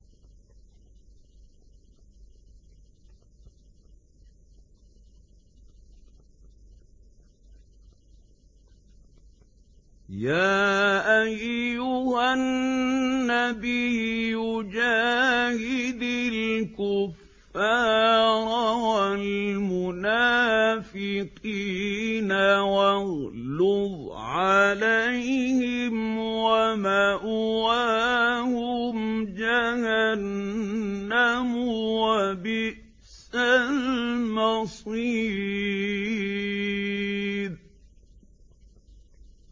يَا أَيُّهَا النَّبِيُّ جَاهِدِ الْكُفَّارَ وَالْمُنَافِقِينَ وَاغْلُظْ عَلَيْهِمْ ۚ وَمَأْوَاهُمْ جَهَنَّمُ ۖ وَبِئْسَ الْمَصِيرُ